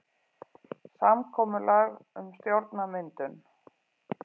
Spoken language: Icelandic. Samkomulag um stjórnarmyndun